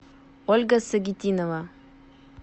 ольга сагитинова